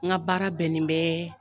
N ka baara bɛnnen bɛ